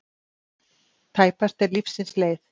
Tæpast er lífsins leið.